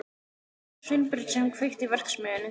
Það var ekki Sveinbjörn sem kveikti í verksmiðjunni.